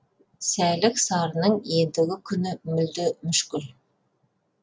сәлік сарының ендігі күні мүлде мүшкіл